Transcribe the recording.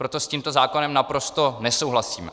Proto s tímto zákonem naprosto nesouhlasíme.